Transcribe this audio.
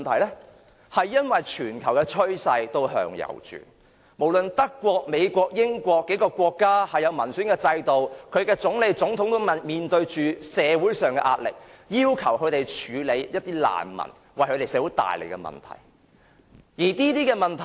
由於全球趨勢向右轉，不論德國、美國和英國等擁有民選制度的國家，它們的總理、總統也面對着社會上的壓力，要求他們處理難民為社會帶來的問題。